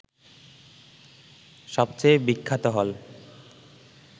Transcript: সবচেয়ে বিখ্যাত হল